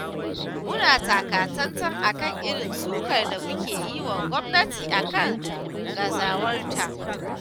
Muna takatsantsan a kan irin sukar da muke yi wa gwamnati a kan gazawarta.